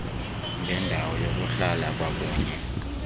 ngendawo yokuhlala kwakunye